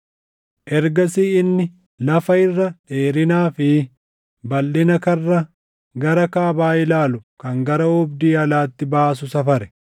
Ergasii inni lafa irra dheerinaa fi balʼina karra gara kaabaa ilaalu kan gara oobdii alaatti baasuu safare.